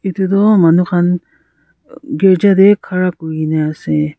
Tutu manu khan uh kerja tey khara kure kena ase.